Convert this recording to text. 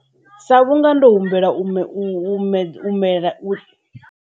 Sa vhunga ndo humbela u .